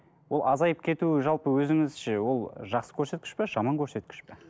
ол азайып кетуі жалпы өзіңізше ол жақсы көрсеткіш пе жаман көрсеткіш пе